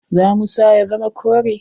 Za mu sa ya zama kore.